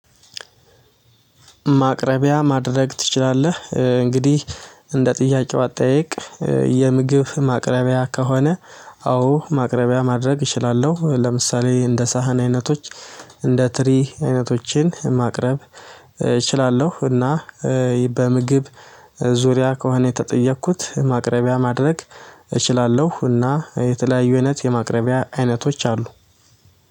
ማቅረቢያ ማድረግ ትችላለህ? እንግዲህ እንደ ጥያቄው አጠያየቅ። የምግብ ማቅረቢያ ከሆነ አዎ ማቅረቢያ ማድረግ እችላለሁ። ለምሳሌ እንደ ሳህን አይነቶች። እንደ ትሪ አይነቶችን ማቅረብ እችላለሁ። እና በምግብ ዙሪያ ከሆነ የተጠየኩት ማቅረቢያ ማድረግ እችላለሁ። እና የተለያዩ አይነት የማቅረቢያ አይነቶች አሉ።